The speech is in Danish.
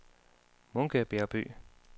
Munke Bjergby